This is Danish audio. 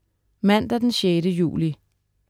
Mandag den 6. juli